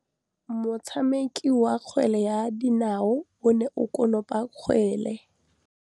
Motshameki wa kgwele ya dinaô o ne a konopa kgwele.